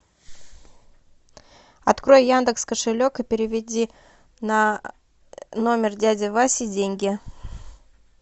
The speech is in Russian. открой яндекс кошелек и переведи на номер дяди васи деньги